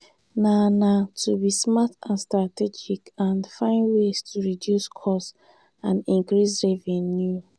na na to be smart and strategic and find ways to reduce costs and increase revenue.